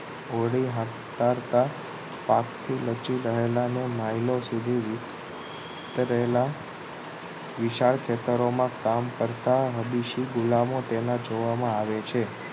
હોળી હાકતારતા પાકથી લચી રહેલા mile ઓ સુધી રહેલા વિશાળ ખેતરોમા કામ કરતા વિદેશી ગુલામો તેને જોવામા આવે છે